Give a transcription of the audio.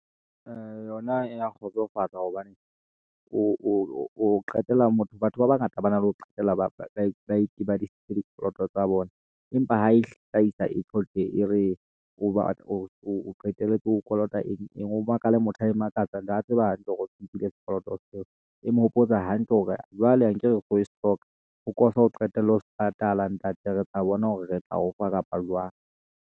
Ee, yona ena kgotsofatsa hobane, o qetella motho, batho ba bangata ba na le ho qetella ba e sebedisitse dikoloto tsa bona, empa ha e hlaisa e re ho ba o qetelletse o kolota eng, eng. O makala motho a e makatsang, and a tseba hantle hore o nkile sekoloto seo, e mo hopotsa hantle hore jwale akere o kotle o qetelle ho patala ntate. Re tla bona hore re tla o fa kapa jwang.